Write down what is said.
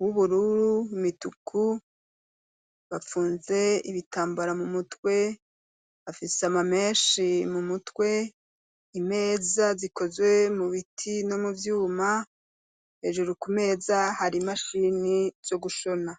w'ubururu imituku, bapfunze ibitambara mu mutwe, afise amamenshi mu mutwe, imeza zikozwe mu biti no mu vyuma hejuru ku meza hari imashini zo gushona.